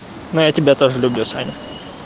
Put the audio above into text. но я тебя тоже люблю саня